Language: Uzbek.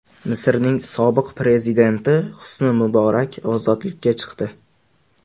Misrning sobiq prezidenti Husni Muborak ozodlikka chiqdi.